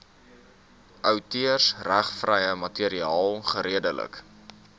outeursregvrye materiaal geredelik